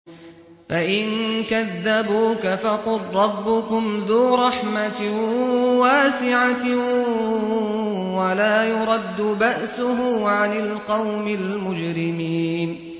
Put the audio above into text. فَإِن كَذَّبُوكَ فَقُل رَّبُّكُمْ ذُو رَحْمَةٍ وَاسِعَةٍ وَلَا يُرَدُّ بَأْسُهُ عَنِ الْقَوْمِ الْمُجْرِمِينَ